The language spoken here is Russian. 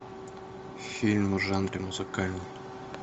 фильм в жанре музыкальный